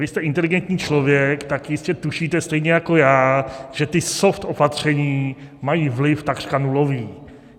Vy jste inteligentní člověk, tak jistě tušíte stejně jako já, že ta soft opatření mají vliv takřka nulový.